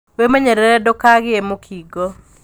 Wĩmenyerere ndũkagĩe mũkingo.